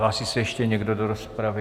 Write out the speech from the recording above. Hlásí se ještě někdo do rozpravy?